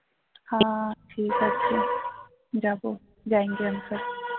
হা ঠিক আছে যাবো